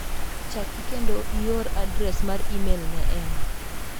Chaki kendo ior adres mar imel ne Emma.